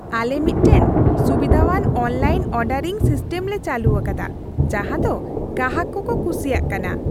ᱟᱞᱮ ᱢᱤᱫᱴᱟᱝ ᱥᱩᱵᱤᱫᱷᱟᱣᱟᱱ ᱚᱱᱞᱟᱭᱤᱱ ᱚᱨᱰᱟᱨᱤᱝ ᱥᱤᱥᱴᱮᱢ ᱞᱮ ᱪᱟᱹᱞᱩ ᱟᱠᱟᱫᱟ ᱡᱟᱦᱟᱸ ᱫᱚ ᱜᱟᱦᱟᱠ ᱠᱚᱠᱚ ᱠᱩᱥᱤᱭᱟᱜ ᱠᱟᱱᱟ ᱾